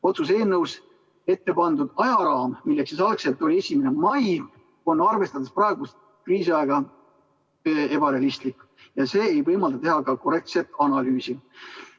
Otsuse eelnõus ette pandud ajaraam, mis algselt oli 1. mai, on arvestades praegust kriisiaega ebarealistlik ja see ei võimalda teha korrektset analüüsi.